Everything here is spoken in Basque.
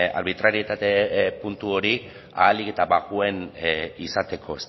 arbitrarietate puntu hori ahalik eta bajuen izateko